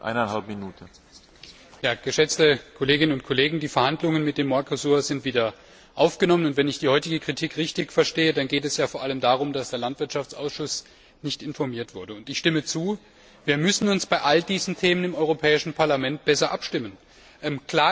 Herr Präsident, geschätzte Kolleginnen und Kollegen! Die Verhandlungen mit dem Mercosur sind wieder aufgenommen, und wenn ich die heutige Kritik richtig verstehe, dann geht es vor allem darum, dass der Landwirtschaftsausschuss nicht informiert wurde, und ich stimme zu, dass wir uns bei all diesen Themen im Europäischen Parlament besser abstimmen müssen.